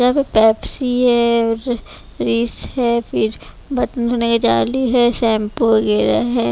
यहाँ पे पेप्सी है उ फ्रिज है फिर जाली है शैंपू वगैरह है।